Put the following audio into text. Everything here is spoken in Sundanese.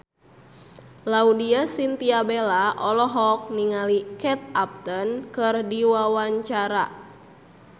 Laudya Chintya Bella olohok ningali Kate Upton keur diwawancara